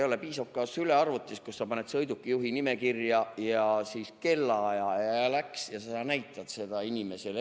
No piisaks ka sülearvutist, kuhu sa paned kirja sõidukijuhi nime ja kellaaja ja näitad seda inimesele.